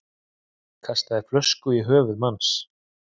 Kastaði flösku í höfuð manns